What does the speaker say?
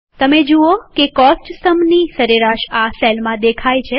તમે જુઓ કે કોસ્ટ સ્તંભની સરેરાશ આ સેલમાં દેખાય છે